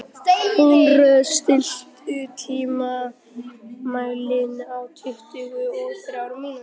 Húnröður, stilltu tímamælinn á tuttugu og þrjár mínútur.